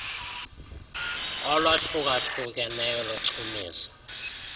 olwahluka hlukeneyo lochumiso